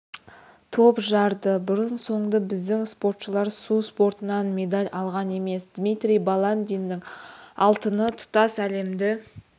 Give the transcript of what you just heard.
топ жарды бұрын-соңды біздің спортшылар су спортынан медаль алған емес дмитрий баландиннің алтыны тұтас әлемді